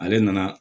Ale nana